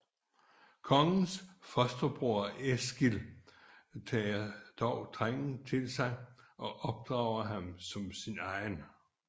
Kongens fosterbror Eskil tager dog drengen til sig og opdrager ham som sin egen